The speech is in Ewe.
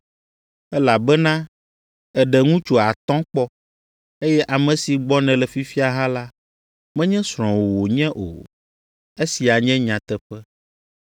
Elabena èɖe ŋutsu atɔ̃ kpɔ, eye ame si gbɔ nèle fifia hã la, menye srɔ̃wò wònye o.” Esia nye nyateƒe.